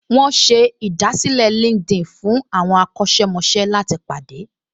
Wọ́n ṣe ìdásílẹ̀ LinkedIn fún àwọn akọ́ṣẹ́mọṣẹ́ láti pàdé